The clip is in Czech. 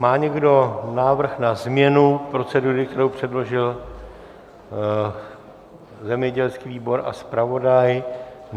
Má někdo návrh na změnu procedury, kterou předložil zemědělský výbor a zpravodaj?